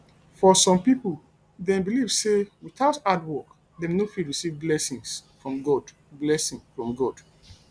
for some pipo dem believe sey without hard work dem no fit receive blessing from god blessing from god